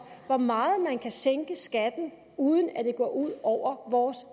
hvor meget man kan sænke skatten uden at det går ud over vores